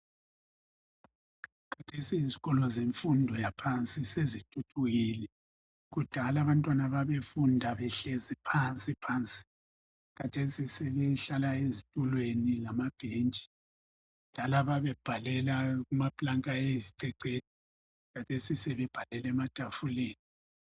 Khathesi izikolo zemfundo yaphansi sezithuthukile kudala abantwana babefunda behlezi phansi phansi khathesi sebehlala ezitulweni lambhentshi babebhalela kumaplanka ayisicecedu khathesi sebebhalela ematafuleni